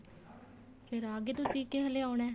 ਫੇਰ ਆ ਗਏ ਤੁਸੀਂ ਕੇ ਹਲੇ ਆਉਣਾ